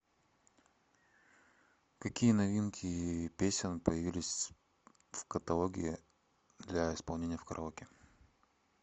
какие новинки песен появились в каталоге для исполнения в караоке